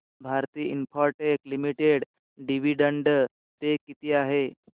Bharti Infratel limited dividend पे किती आहे